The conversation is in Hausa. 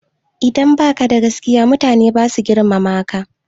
Idan baka da gaskiya mutane basa girmama ka